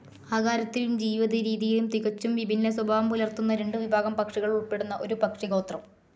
ആകാരത്തിലും ജീവിതരീതിയിലും തികച്ചും വിഭിന്ന സ്വഭാവം പുലർത്തുന്ന രണ്ടു വിഭാഗം പക്ഷികൾ ഉൾപ്പെടുന്ന ഒരു പക്ഷിഗോത്രം.